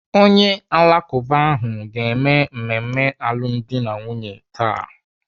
Onye Alakụba ahụ ga-eme mmemme alụmdi na nwunye taa.